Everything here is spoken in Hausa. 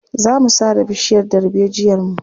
Za mu sare bishiyar darbejiyarmu.